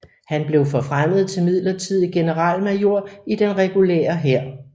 Han blev forfremmet til midlertidig generalmajor i den regulære hær